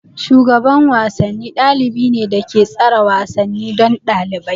Shugaban wasanni ɗalibi ne da ke tsara wasanni don ɗalibai.